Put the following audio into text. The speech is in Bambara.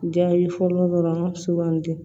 Jaabi fɔlɔ dɔrɔn sugandi